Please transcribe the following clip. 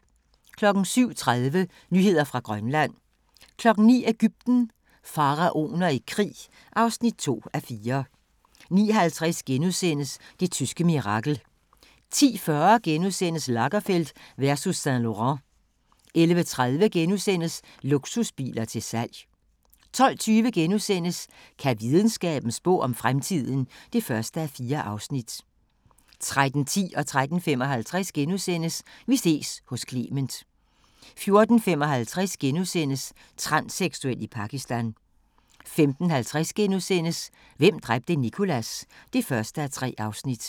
07:30: Nyheder fra Grønland 09:00: Egypten – Faraoner i krig (2:4) 09:50: Det tyske mirakel * 10:40: Lagerfeld versus Saint-Laurent * 11:30: Luksusbiler til salg * 12:20: Kan videnskaben spå om fremtiden? (1:4)* 13:10: Vi ses hos Clement * 13:55: Vi ses hos Clement * 14:55: Transseksuel i Pakistan * 15:50: Hvem dræbte Nicholas? (1:3)*